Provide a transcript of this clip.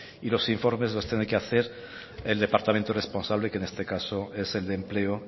y los informes los tendrá que hacer el departamento responsable que en este caso es el de empleo